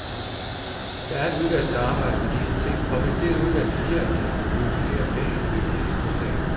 Der er et udvalg, der arbejder med disse ting, og hvis dette udvalg siger, at der skal bruges flere penge, vil vi se på sagen.